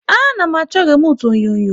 A na m achọ remute onyonyo